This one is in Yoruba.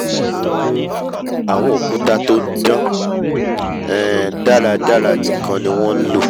um àwọn òkúta tó dán um dáradára nìkan ni wọ́n nlò